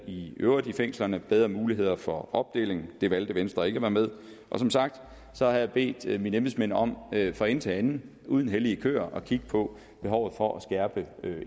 i øvrigt i fængslerne og bedre muligheder for opdeling der valgte venstre ikke at være med som sagt har jeg bedt mine embedsmænd om fra ende til anden uden at have hellige køer at kigge på behovet for at skærpe